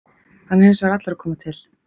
Hann er hins vegar allur að koma til.